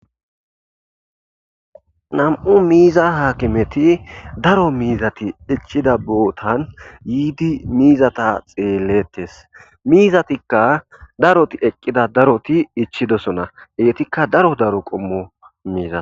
Nam'u miza hakimeti daro mizati ichida botan yidi mizata xeletes mizatika daroti eqida daroti ichidosona etika daro daro qomo miza.